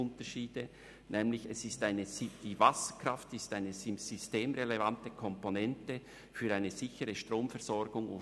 Die Wasserkraft ist eine systemrelevante Komponente für eine sichere Stromversorgung.